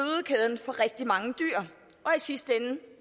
rigtig mange dyr og i sidste ende